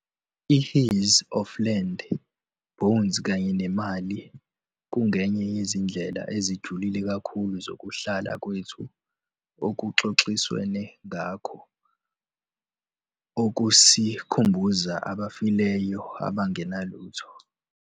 I-His 'Of Land, Bones kanye neMali' kungenye yezindlela ezijule kakhulu zokuhlala kwethu okuxoxiswene ngakho - okusikhumbuza 'abafileyo abangenalutho.'